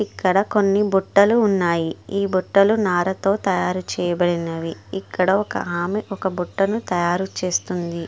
ఇక్కడ కొన్ని బుట్టలు ఉన్నాయి. ఈ బుట్టలు నారతో తయారుచేయబడినవి.ఇక్కడ ఒకామె ఒక బుట్టను తయారుచేస్తుంది.